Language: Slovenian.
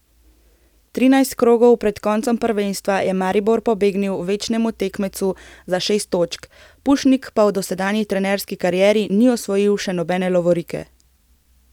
Trinajst krogov pred koncem prvenstva je Maribor pobegnil večnemu tekmecu za šest točk, Pušnik pa v dosedanji trenerski karieri ni osvojil še nobene lovorike.